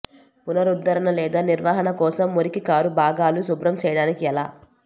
పునరుద్ధరణ లేదా నిర్వహణ కోసం మురికి కారు భాగాలు శుభ్రం చేయడానికి ఎలా